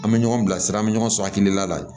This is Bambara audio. An bɛ ɲɔgɔn bilasira an bɛ ɲɔgɔn sɔrɔ hakilila la ye